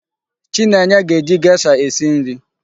Chinenye ga-eji gesha esi nri.